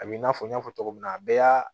A b'i n'a fɔ n y'a fɔ cogo min na a bɛɛ y'a